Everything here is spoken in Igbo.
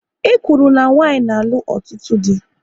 E kwuru na nwanyị na-alụ ọtụtụ dị